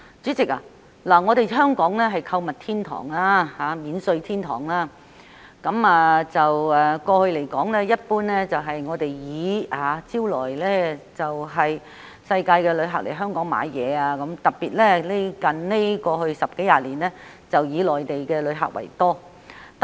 主席，香港是購物天堂及免稅天堂，過去一直得以招徠世界各地的旅客來港購物，最近十多二十年更是以內地旅客居多。